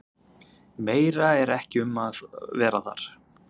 Meira er ekki um að vera þar.